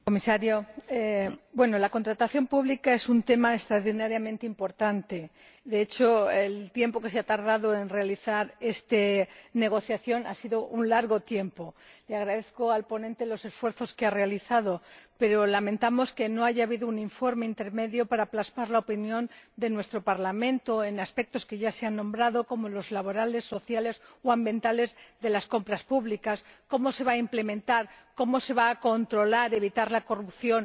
Señor Presidente, señor Comisario, la contratación pública es un tema extraordinariamente importante. De hecho, el tiempo que se ha tardado en realizar esta negociación ha sido largo. Le agradezco al ponente los esfuerzos que ha realizado, pero lamentamos que no haya habido un informe intermedio para plasmar la opinión de nuestro Parlamento en aspectos que ya se han nombrado, como los laborales, sociales o ambientales de las compras públicas. ¿Cómo se va a implementar, cómo se va a controlar y evitar la corrupción?